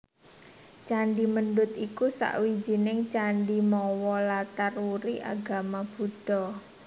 Candhi Mendut iku sawijining candhi mawa latar wuri agama Buddha